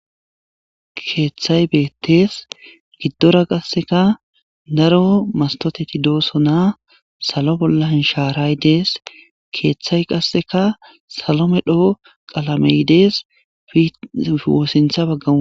keeththay beettees giddora qasseka daro mastoteti doosonaa salo bolla hinshaaraydees keeththay qasseka salome dhoo qalamey dees woossintha baggam